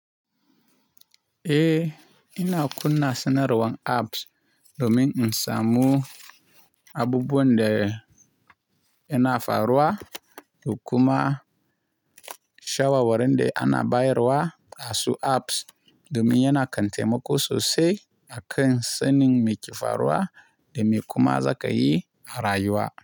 Eh, ina kunna sanarwan apps domin in samu abubuwan da yana faruwa, dokuma shawarwarin da ana baiyarwa asu apps domin yana kante taimako sosai a kan sanin me ke faruwa da me kuma za ka yi a rayuwa.